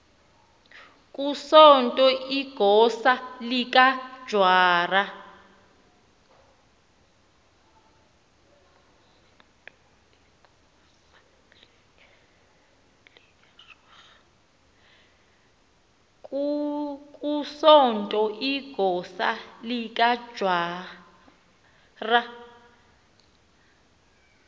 kusonto igosa likajwara